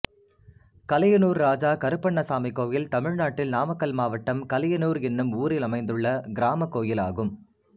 கலியனூர் இராஜா கருப்பண்ணசாமி கோயில் தமிழ்நாட்டில் நாமக்கல் மாவட்டம் கலியனூர் என்னும் ஊரில் அமைந்துள்ள கிராமக் கோயிலாகும்